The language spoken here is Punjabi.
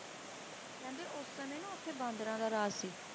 ਕਹਿੰਦੇ ਉਸ ਸਮੇਂ ਨਾ ਉਥੇ ਬਾਂਦਰਾਂ ਦਾ ਰਾਜ ਸੀ